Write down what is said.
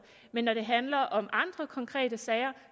men når det handler om andre konkrete sager